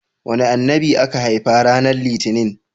Wane Annabi aka haifa ranar litinin?